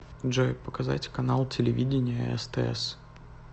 джой показать канал телевидения стс